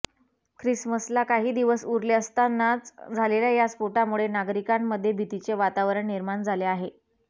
ख्रिसमसला काही दिवस उरले असतानाच झालेल्या या स्फोटामुळे नागरीकांमध्ये भीतीचे वातावरण निर्माण झाले आहे